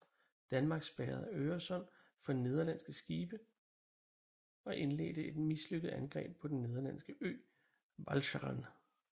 Danmark spærrede Øresund for nederlandske skibe og indledte et mislykket angreb på den nederlandske ø Walcheren